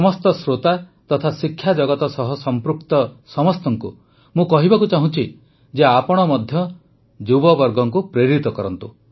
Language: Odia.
ସମସ୍ତ ଶ୍ରୋତା ତଥା ଶିକ୍ଷା ଜଗତ ସହ ସଂପୃକ୍ତ ସମସ୍ତଙ୍କୁ ମୁଁ କହିବାକୁ ଚାହୁଁଛି ଯେ ଆପଣ ମଧ୍ୟ ଯୁବବର୍ଗଙ୍କୁ ପ୍ରେରିତ କରନ୍ତୁ